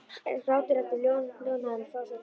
Grátur Eddu hljóðnaði um leið og frásögn hennar lauk.